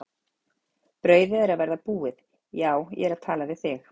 Brauðið er að verða búið, já ég er að tala við þig!